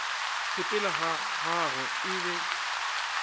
sepela ga gagwe e be